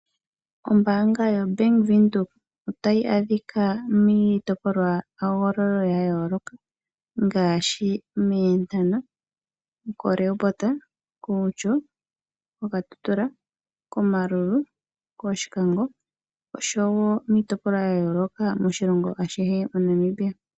Ombaanga yaBank Windhoek otayi adhika miitopolwa ngaashi mEenhana, Maerua Mall, Outjo, Okatutura , Omaruru, Oshikango oshowoo miitopolwa yayooloka moNamibia.